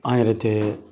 An yɛrɛ tɛ